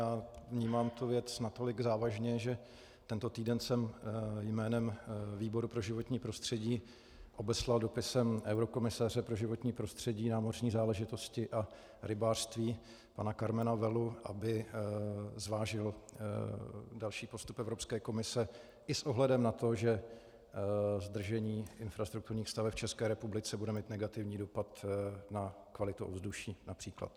Já vnímám tuto věc natolik závažně, že tento týden jsem jménem výboru pro životní prostředí obeslal dopisem eurokomisaře pro životní prostředí, námořní záležitosti a rybářství pana Karmena Vellu, aby zvážil další postup Evropské komise i s ohledem na to, že zdržení infrastrukturních staveb v České republice bude mít negativní dopad na kvalitu ovzduší, například.